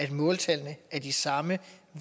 at måltallene er de samme